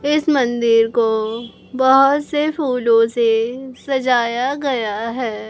इस मंदिर को बहोत से फूलों से सजाया गया है।